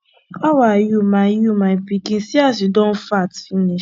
how are you my you my pikin see as you don fat finish